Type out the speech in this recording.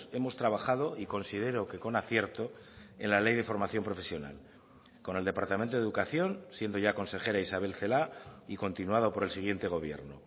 hemos trabajado y considero que con acierto en la ley de formación profesional con el departamento de educación siendo ya consejera isabel celaá y continuado por el siguiente gobierno